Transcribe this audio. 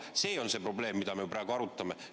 See on see probleem, mida me praegu arutame.